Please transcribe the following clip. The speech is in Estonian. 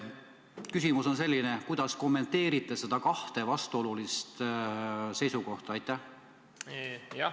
Küsimus on selline: kuidas kommenteerite neid kahte vastuolulist seisukohta?